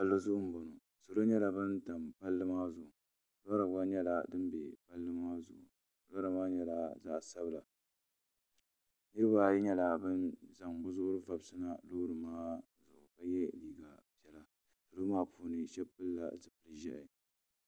salo salo nyɛla ban ʒɛ pali maa zuɣ' lori gba nyɛla dim bɛ pali maa zuɣ' lori maa nyɛla zaɣ' sabila nɛbaayi nyɛla ban zaŋ be zuɣ' ri vabisi na salo maa puuni shɛb pɛlila zupɛli ʒiɛhi